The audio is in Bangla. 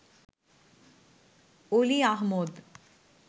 অলি আহমদ